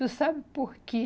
Tu sabe por que